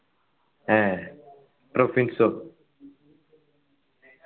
ഏർ പ്രൊഫിൻസ്ഓ